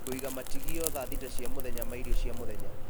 kũiga matigio thaa thita cia mũthenya ma irio cia mũthenya